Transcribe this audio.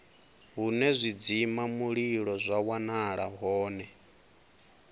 hune zwidzimamulilo zwa wanala hone